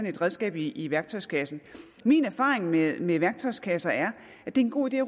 et redskab i i værktøjskassen min erfaring med med værktøjskasser er at det er en god idé